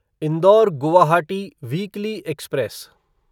indoor Guwahati weekly express